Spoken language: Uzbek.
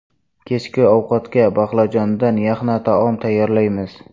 Kechki ovqatga baqlajondan yaxna taom tayyorlaymiz.